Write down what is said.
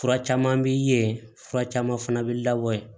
Fura caman bi ye fura caman fana bɛ labɔ yen